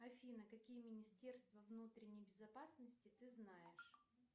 афина какие министерства внутренней безопасности ты знаешь